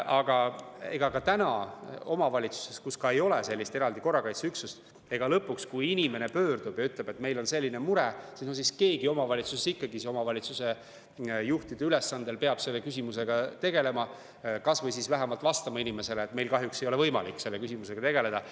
Aga omavalitsustes, kus ei ole sellist eraldi korrakaitseüksust, on ka praegu nii, et kui inimene pöördub sinna ja ütleb, et tal on selline mure, siis keegi omavalitsusest peab omavalitsuse juhtide ülesandel selle küsimusega tegelema, kas või vähemalt vastama inimesele, et meil kahjuks ei ole võimalik selle küsimusega tegeleda.